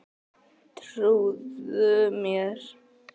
Trúðu mér!